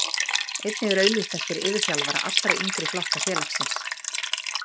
Einnig er auglýst eftir yfirþjálfara allra yngri flokka félagsins.